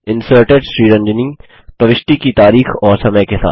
inserted Sriranjani प्रविष्टि की तारीख और समय के साथ